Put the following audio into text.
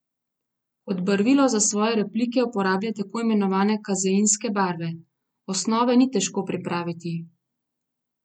Kot barvilo za svoje replike uporablja tako imenovane kazeinske barve: "Osnove ni težko pripraviti.